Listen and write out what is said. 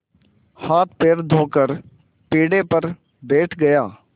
हाथपैर धोकर पीढ़े पर बैठ गया